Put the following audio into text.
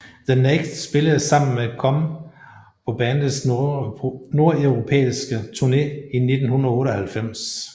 The Naked spillede sammen med Come på bandets nordeuropæiske tourne i 1998